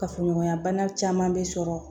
Kafoɲɔgɔnya bana caman bɛ sɔrɔ